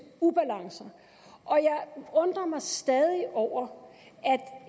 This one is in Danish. ubalancer jeg undrer mig stadig over